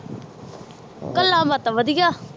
ਗੱਲਾਂ ਬਾਤਾਂ ਵਧੀਆ।